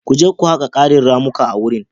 Ku je ku haƙa ƙarin ramuka a wurin.